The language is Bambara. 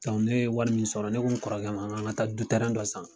ne ye wari mun sɔrɔ ne ko n kɔrɔkɛ ma, n kan ka taa du dɔ san